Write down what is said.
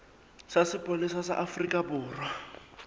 sa sepolesa sa afrika borwa